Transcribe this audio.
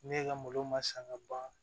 Ne ka malo ma san ka ban